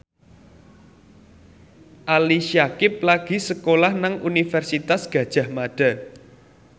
Ali Syakieb lagi sekolah nang Universitas Gadjah Mada